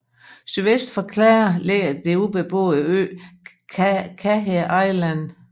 Sydvest for Clare ligger den ubeboede ø Caher Island